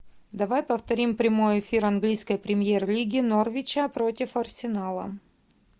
давай повторим прямой эфир английской премьер лиги норвича против арсенала